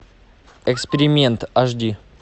эксперимент аш ди